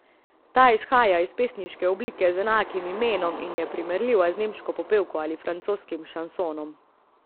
Ta izhaja iz pesniške oblike z enakim imenom in je primerljiva z nemško popevko ali francoskim šansonom.